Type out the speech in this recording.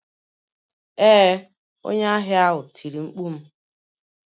Ee, onye ahịa ahụ tiri mkpu m.